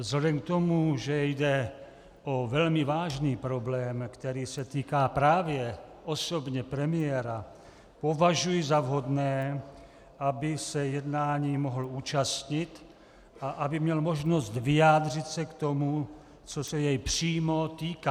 Vzhledem k tomu, že jde o velmi vážný problém, který se týká právě osobně premiéra, považuji za vhodné, aby se jednání mohl účastnit a aby měl možnost vyjádřit se k tomu, co se jej přímo týká.